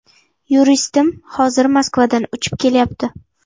Yuristim hozir Moskvadan uchib kelyapti.